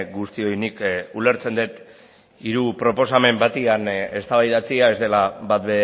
guztioi nik ulertzen dut hiru proposamen batean eztabaidatzea ez dela bat